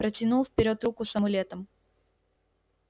протянул вперёд руку с амулетом